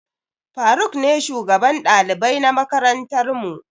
Faruk ne shugaban ɗalibai na makarantar mu.